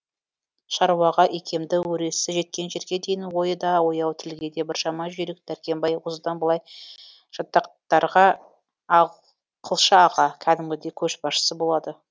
шаруаға икемді өресі жеткен жерге дейін ойы да ояу тілге де біршама жүйрік дәркембай осыдан былай жатақтарға ақылшы аға кәдімгідей көшбасшысы болады